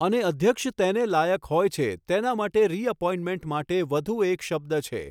અને અધ્યક્ષ તેને લાયક હોય છે તેના માટે રીએપોઇન્ટમેન્ટ માટે એક વધુ શબ્દ છે.